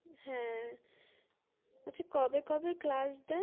হা আচ্ছা কবে কবে class দেয়